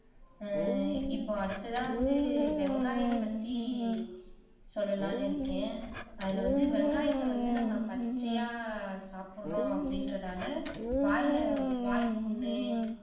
அஹ் இப்ப அடுத்ததா வந்து வெங்காயம் பத்தி சொல்லலாம்னு இருக்கேன் அதுல வந்து வெங்காயத்தை வந்து நம்ம பச்சையா சாப்பிடுறோம் அப்படின்றதால வாயில வாய்ப்புண்ணு